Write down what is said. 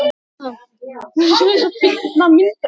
Kannski er það bara ég?